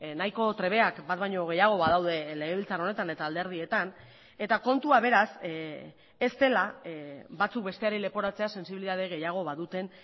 nahiko trebeak bat baino gehiago badaude legebiltzar honetan eta alderdietan eta kontua beraz ez dela batzuk besteari leporatzea sentsibilitate gehiago baduten